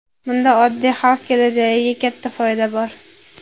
Bunda oddiy xalq kelajagiga katta foyda bor.